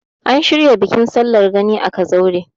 an shirya bikin sallar gani a kazaure